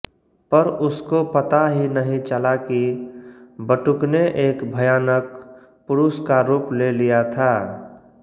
पर उसको पता ही नहि चला की बटुकने एक भयानक पुरुषका रूप ले लिया था